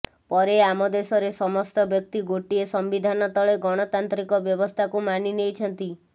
ପରେ ଆମ ଦେଶରେ ସମସ୍ତ ବ୍ୟକ୍ତି ଗୋଟିଏ ସମ୍ବିଧାନ ତଳେ ଗଣତାନ୍ତ୍ରୀକ ବ୍ୟବସ୍ଥାକୁ ମାନିନେଇଛନ୍ତି